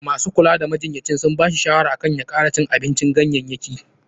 Masu kula da majinyaci sun ba shi shawara akan ya kara cin abincin ganyayyaki.